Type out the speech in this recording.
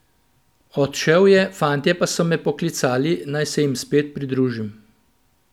Odšel je, fantje pa so me poklicali, naj se jim spet pridružim.